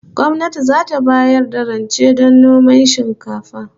Gwamnati zata bayar da rance don noman shinkafa